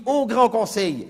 au Grand